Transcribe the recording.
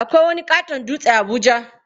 Akwai wani ƙaton dutse a Abuja.